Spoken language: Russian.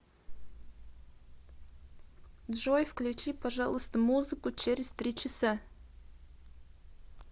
джой включи пожалуйста музыку через три часа